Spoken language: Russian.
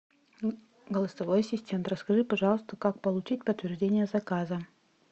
голосовой ассистент расскажи пожалуйста как получить подтверждение заказа